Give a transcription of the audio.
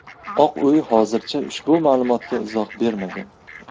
Oq uy hozircha ushbu ma’lumotga izoh bermagan.